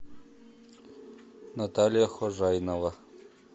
наталья хожайнова